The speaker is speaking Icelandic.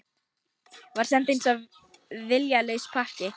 Var send eins og viljalaus pakki